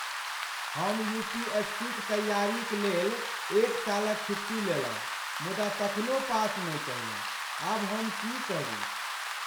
हम U. P. S. C. क तैयारी क लेल एक सालक छुट्टी लेलहुँ मुदा तखनो पास नहि कयलहुँ। आब हम की करू?